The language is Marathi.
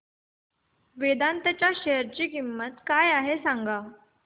वेदांत च्या शेअर ची किंमत काय आहे सांगा